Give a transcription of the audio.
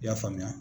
I y'a faamuya